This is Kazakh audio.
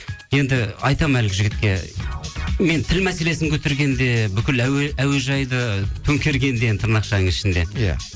енді айтамын әлгі жігітке мен тіл мәселесін көтергенде бүкіл әуежайды төңкергенде енді тырнақшаның ішінде иә